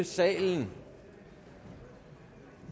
salen